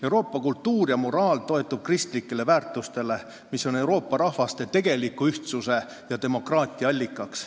Euroopa kultuur ja moraal toetuvad kristlikele väärtustele, mis on Euroopa rahvaste tegeliku ühtsuse ja demokraatia allikas.